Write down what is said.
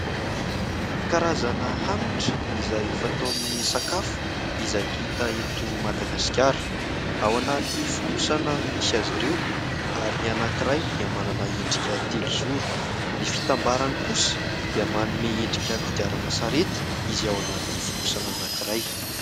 Karazana hanitra izay fatao amin'ny sakafo, izay hita eto Madagasikara, ao anaty fonosana misy azy ireo ary ny anankiray dia manana endrika telozoro. Ny fitambarany kosa dia manome endrika kodiaran-tsarety izay ao anaty fonosana anankiray.